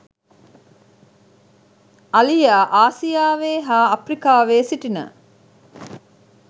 අලියා ආසියාවේ හා අප්‍රිකාවේ සිටින